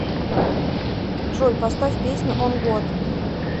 джой поставь песню он год